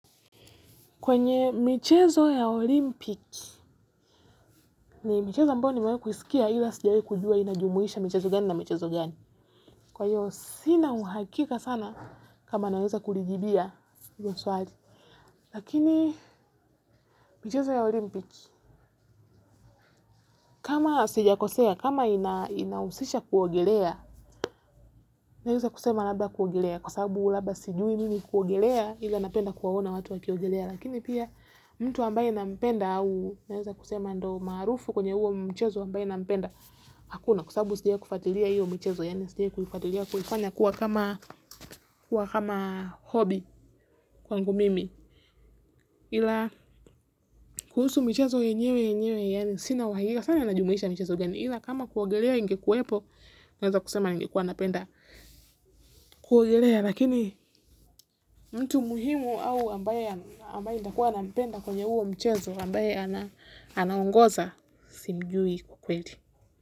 Kwenye michezo ya olimpiki, ni michezo ambayo nimewahi kuisikia ila sijawahi kujua inajumuisha michezo gani na michezo gani. Kwa hiyo, sina uhakika sana kama naweza kulijibia hilo swali. Lakini, michezo ya olimpiki, kama sijakosea, kama inahusisha kuogelea, naweza kusema labda kuogelea kwa sababu labda sijui mimi kuogelea ila napenda kuwaona watu wakiogelea. Lakini pia mtu ambaye nampenda au naweza kusema ndo maarufu kwenye huo mchezo ambaye nampenda hakuna kwa sababu sijai kufuatilia hiyo mchezo yaani sijai kuifuatilia kufanya kuwa kama hobi kwangu mimi ila kuhusu michezo yenyewe yenyewe yaani sina wahiga sana anajumulisha mchezo gani ila kama kuogelea ingekuwepo naweza kusema ningekuwa napenda kuogelea. Lakini mtu muhimu au ambaye ambaye nitakua na mpenda kwenye huo mchezo ambaye anaongoza simjui kwa kweli.